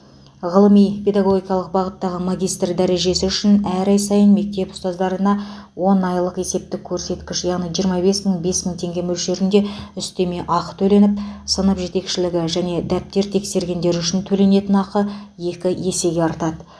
ғылыми педагогикалық бағыттағы магистр дәрежесі үшін әр ай сайын мектеп ұстаздарына он айлық есептік көрсеткіш яғни жиырма бес мың бес мың теңге мөлшерінде үстеме ақы төленіп сынып жетекшілігі және дәптер тексергендер үшін төленетін ақы екі есеге артады